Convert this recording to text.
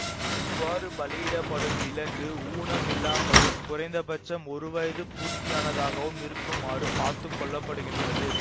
இவ்வாறு பலியிடப்படும் விலங்கு ஊனம் இல்லாமலும் குறைந்தபட்சம் ஒரு வயது பூர்த்தியானதாகவும் இருக்குமாறு பார்த்துக்கொள்ளப்படுகின்றது